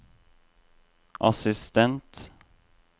assistent